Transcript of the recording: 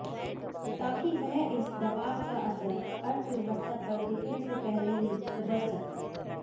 ताकि वह इस दबाव का असर अर्थव्यवस्था पर दिखने से पहले ही उबर सके